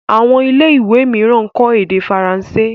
Àwọn ilé ìwé míràn kò ede faransé.